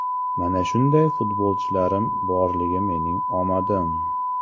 Mana shunday futbolchilarim borligi mening omadim.